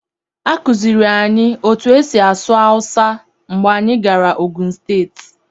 A kụziiri anyị otú e si asụ asụsụ hausa mgbe anyị gara Ogun steeti.